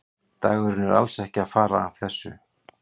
Dampurinn er alls ekki að fara af þessu.